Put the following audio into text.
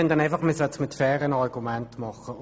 Dies sollte aber mit fairen Argumenten geschehen.